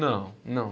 Não, não.